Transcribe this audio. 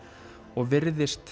og virðist